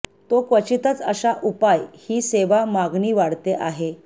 तो क्वचितच अशा उपाय ही सेवा मागणी वाढते आहे